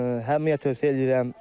Hamıya tövsiyə eləyirəm.